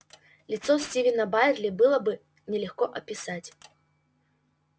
лицо стивена байерли было бы нелегко описать